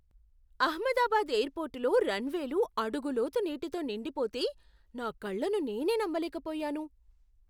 అహ్మదాబాద్ ఎయిర్పోర్టులో రన్వేలు అడుగు లోతు నీటితో నిండిపోతే నా కళ్ళను నేనే నమ్మలేకపోయాను.